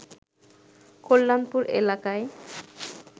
কল্যাণপুর এলাকায়